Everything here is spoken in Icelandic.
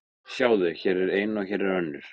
Sjáðu, hér er ein og hér er önnur.